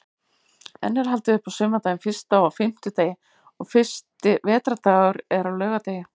Enn er haldið upp á sumardaginn fyrsta á fimmtudegi og fyrsti vetrardagur er á laugardegi.